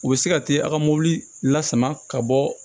U bɛ se ka te a ka mobili la sama ka bɔ